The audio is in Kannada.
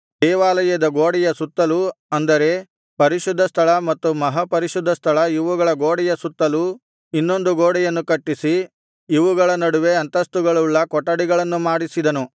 ದೇವಾಲಯದ ಗೋಡೆಯ ಸುತ್ತಲೂ ಅಂದರೆ ಪರಿಶುದ್ಧ ಸ್ಥಳ ಮತ್ತು ಮಹಾಪರಿಶುದ್ಧ ಸ್ಥಳ ಇವುಗಳ ಗೋಡೆಯ ಸುತ್ತಲೂ ಇನ್ನೊಂದು ಗೋಡೆಯನ್ನು ಕಟ್ಟಿಸಿ ಇವುಗಳ ನಡುವೆ ಅಂತಸ್ತುಗಳುಳ್ಳ ಕೊಠಡಿಗಳನ್ನು ಮಾಡಿಸಿದನು